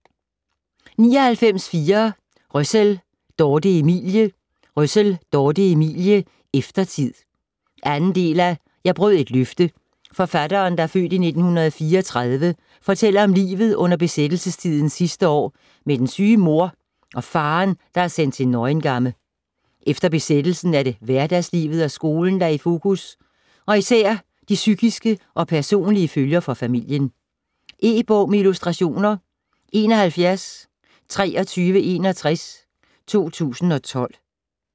99.4 Røssell, Dorthe Emilie Røssell, Dorthe Emilie: Eftertid 2. del af Jeg brød et løfte. Forfatteren (f. 1934) fortæller om livet under besættelsestidens sidste år med den syge mor og faderen der er er sendt til Neuengamme. Efter besættelsen er det hverdagslivet og skolen, der er i fokus og især de psykiske og personlige følger for familien. E-bog med illustrationer 712361 2012.